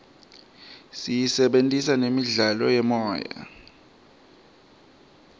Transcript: siyisebentisela nemidlalo yemoya